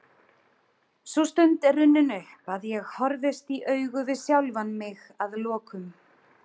Sú stund er runnin upp að ég horfist í augu við sjálfan mig að lokum.